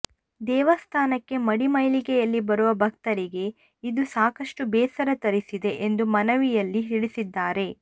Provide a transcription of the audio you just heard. ದೇವಸ್ಥಾನಕ್ಕೆ ಮಡಿಮೈಲಿಗೆಯಲ್ಲಿ ಬರುವ ಭಕ್ತರಿಗೆ ಇದು ಸಾಕಷ್ಟು ಬೇಸರ ತರಿಸಿದೆ ಎಂದು ಮನವಿಯಲ್ಲಿ ತಿಳಿಸಿದ್ದಾರೆ